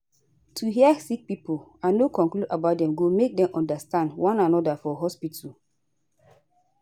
to hear sick pipo and no conclude about dem go make dem understand one anoda for hospitu